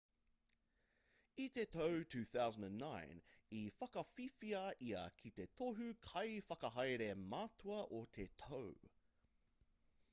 i te tau 2009 i whakawhiwhia ia ki te tohu kaiwhakahaere matua o te tau